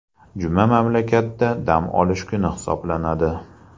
Juma mamlakatda dam olish kuni hisoblanadi.